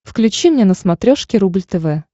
включи мне на смотрешке рубль тв